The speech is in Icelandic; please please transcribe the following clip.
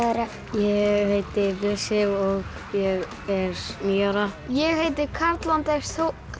ég heiti Bjössi og ég er níu ára ég heiti Karl Anders